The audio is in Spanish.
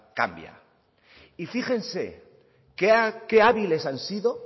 cambia y fíjense qué hábiles han sido